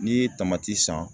N'i ye tamati san